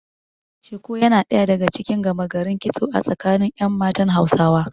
Shuku yana ɗaya daga cikin gama garin kitso a tsakanin ƴan matan Hausawa.